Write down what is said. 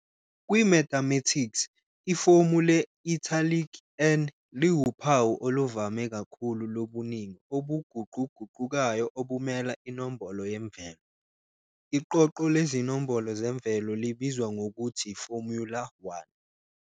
Kwi-mathematics, ifomu le-italic "n" liwuphawu oluvame kakhulu lobuningi obuguquguqukayo obumela inombolo yemvelo. Iqoqo lezinombolo zemvelo libizwa ngokuthiformula_1.